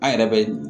An yɛrɛ bɛ